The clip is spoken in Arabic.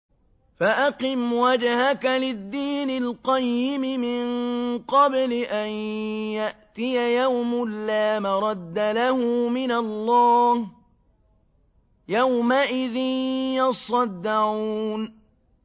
فَأَقِمْ وَجْهَكَ لِلدِّينِ الْقَيِّمِ مِن قَبْلِ أَن يَأْتِيَ يَوْمٌ لَّا مَرَدَّ لَهُ مِنَ اللَّهِ ۖ يَوْمَئِذٍ يَصَّدَّعُونَ